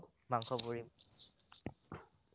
মাংস পুৰি